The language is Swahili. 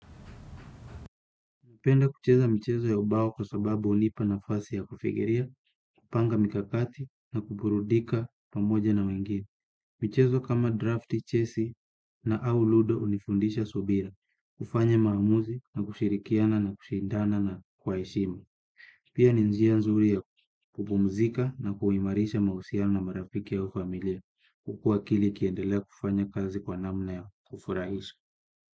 Napenda kucheza michezo ya ubao kwa sababu hunipa nafasi ya kufikiria, kupanga mikakati na kuburudika pamoja na wengine. Michezo kama drafti, chesi na au ludo unifundisha subira, kufanya maamuzi na kushirikiana na kushindana na kwa heshima. Pia ni njia nzuri ya kupumzika na kuhimarisha mausiano na marafiki au familia, huku akili ikiendelea kufanya kazi kwa namna ya kufurahisha.